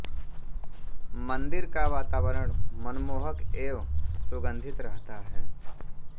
मंदिर का वातावरण मनमोहक एवं सुगंधित रहता है